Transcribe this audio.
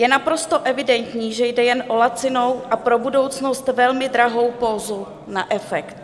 Je naprosto evidentní, že jde jen o lacinou a pro budoucnost velmi drahou pózu na efekt.